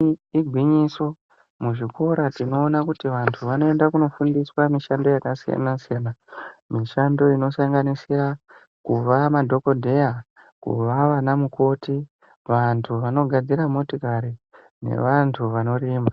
Igwinyiso muzvikora tinoona kuti vantu vanoenda kunofundiswa mishando yakasiyana siyana. Mishando inosanganisira kuva madhokodheya, kuva vanamukoti, vantu vanogadzira motikari nevantu vanorima.